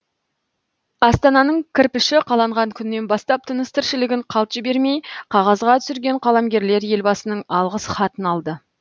астананың кірпіші қаланған күннен бастап тыныс тіршілігін қалт жібермей қағазға түсірген қаламгерлер елбасының алғыс хатын алды